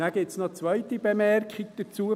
Nachher gibt es noch eine zweite Bemerkung dazu: